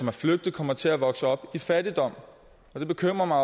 er flygtet kommer til at vokse op i fattigdom det bekymrer mig